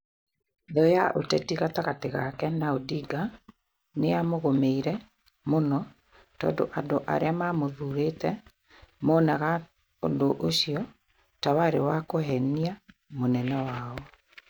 Thũ ya ũteti gatagatĩ gake na Odinga nĩ yamũgũmĩire mũno tondũ andũ arĩa maamũthuurĩte monaga ũndũ ũcio ta warĩ wa kũheenia mũnene wao.